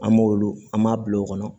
An m'olu an m'a bila o kɔnɔ